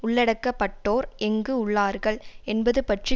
உள்ளடக்கப்பட்டோர் எங்கு உள்ளார்கள் என்பது பற்றி